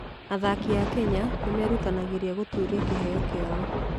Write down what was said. Athaki a Kenya nĩ merutanagĩria gũtũũria kĩheo kĩao